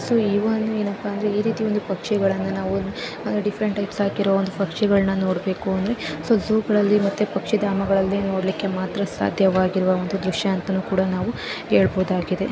So ಈ ಒಂದು ಏನಪ್ಪಾ ಅಂದ್ರೆ ಈ ರೀತಿ ಒಂದು ಪಕ್ಷಿಗಳನ್ನು ನಾವು ಡಿಫ್ರೆಂಟಾ ಗಿ ಸಾಕಿರೋ ಒಂದು ಪಕ್ಷಿಗಳನ್ನು ನೋಡಬೇಕು ಅಂದ್ರೆ ಸೋ ಜೂಗಳಲ್ಲಿ ಮತ್ತು ಪಕ್ಷಿಧಾಮಗಳಲ್ಲಿ ನೋಡಲಿಕ್ಕೆ ಮಾತ್ರ ಸಾಧ್ಯ ಇರುವ ಒಂದು ದೃಶ್ಯ ಅಂತಲೂ ಕೂಡ ಹೇಳಬಹುದಾಗಿದೆ.